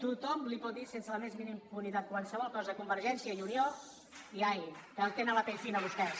tothom li pot dir sense la més mínima impunitat qualsevol cosa a convergència i unió i ai que tenen la pell fina vostès